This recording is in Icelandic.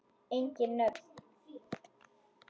Engin nöfn.